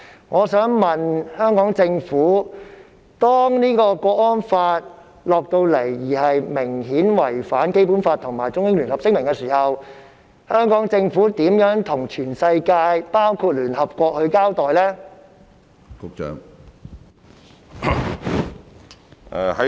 我想問局長，如果港區國安法明顯違反《基本法》及《中英聯合聲明》，香港政府會如何向全世界包括聯合國交代？